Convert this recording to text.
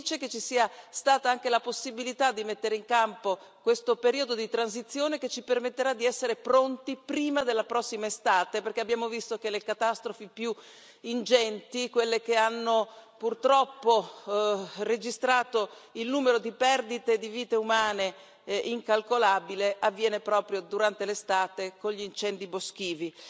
Sono felice che ci sia stata anche la possibilità di mettere in campo questo periodo di transizione che ci permetterà di essere pronti prima della prossima estate, perché abbiamo visto che le catastrofi più ingenti, quelle che hanno purtroppo registrato il numero di perdite di vite umane incalcolabile, avviene proprio durante l'estate con gli incendi boschivi.